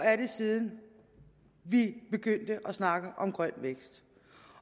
siden vi begyndte at snakke om grøn vækst